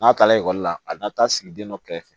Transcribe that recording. N'a taara ekɔli la a na taa sigi den dɔ kɛrɛfɛ